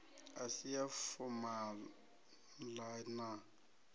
i si ya fomala na